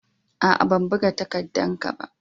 Aa, ban buga takaddan ka ba.